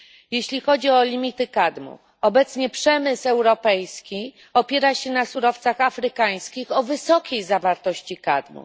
Jeśli chodzi o limity kadmu, obecnie przemysł europejski opiera się na surowcach afrykańskich o wysokiej zawartości kadmu.